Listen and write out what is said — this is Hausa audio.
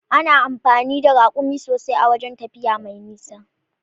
Ana amfani da Raƙumi sosai a da wajan tafiya mai nisa.